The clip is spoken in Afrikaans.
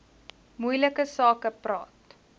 moeilike sake praat